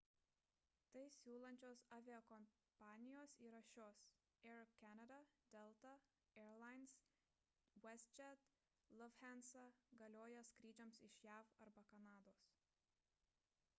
tai siūlančios aviakompanijos yra šios air canada delta air lines westjet lufthansa - galioja skrydžiams iš jav arba kanados